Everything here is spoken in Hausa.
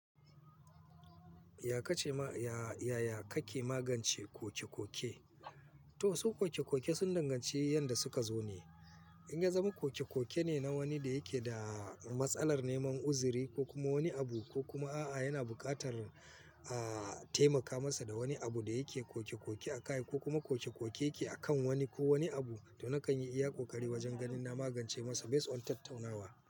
Yaya kake magance kokekoke? To su koke koke sun danganci yadda suka zo ne. In ya zama koke koke ne na wani da yake da matsalar neman uzuri ko kuma wani abu ko kuma a'a yana buƙatar a taimaka masa da wani abu da yake koke koke a kai ko kuma koke koke yake a kan wani ko wani abu, to na kan iya ƙoƙari wajen ganin na magance masa based on tattaunawa.